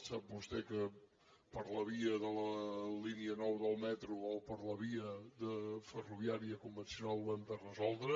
sap vostè que per la via de la línia nou del metro o per la via ferroviària convencional ho hem de resoldre